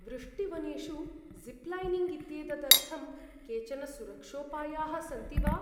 वृष्टिवनेषु zip lining इत्येतदर्थं केचन सुरक्षोपायाः सन्ति वा?